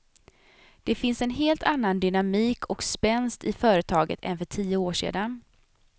Den finns en helt annan dynamik och spänst i företaget än för tio år sedan.